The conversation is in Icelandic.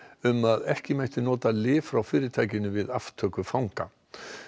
um að ekki mætti nota lyf frá fyrirtækinu við aftöku fanga